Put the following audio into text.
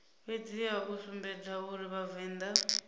fhedziha u sumbedza uri vhavenḓa